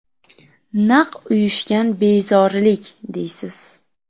Naq uyushgan bezorilik, deysiz!